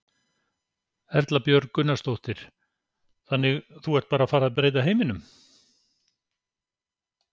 Erla Björg Gunnarsdóttir: Þannig þú ert bara að fara að breyta heiminum?